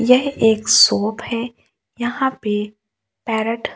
यह एक शॉप है यहां पे पैरट --